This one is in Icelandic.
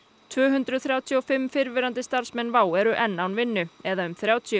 tvö hundruð þrjátíu og fimm fyrrverandi starfsmenn WOW air eru enn án vinnu eða um þrjátíu